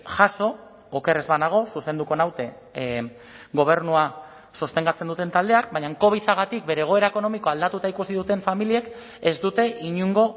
jazo oker ez banago zuzenduko naute gobernua sostengatzen duten taldeak baina covidagatik bere egoera ekonomikoa aldatuta ikusi duten familiek ez dute inongo